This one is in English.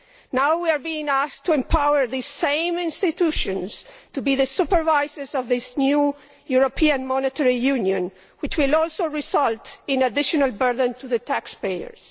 Now we are being asked to empower the same institutions to be the supervisors of this new European Monetary Union, which will also result in an additional burden to taxpayers.